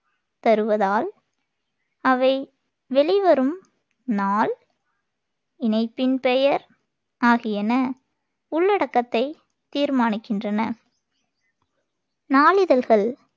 தருவதால், அவை வெளிவரும் நாள், இணைப்பின் பெயர் ஆகியன உள்ளடக்கத்தைத் தீர்மானிக்கின்றன. நாளிதழ்கள்